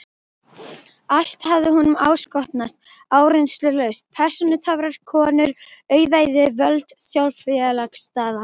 Allt hafði honum áskotnast áreynslulaust: persónutöfrar, konur, auðæfi, völd, þjóðfélagsstaða.